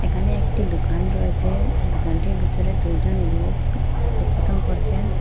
এখানে একটি দুকান রয়েছে দুকানটির ভিতরে দুইজন লোক কথোপকথন করছেন।